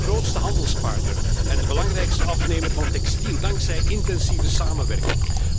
We zijn de grootste handelspartner en de belangrijkste afnemer van textiel dankzij intensieve samenwerking.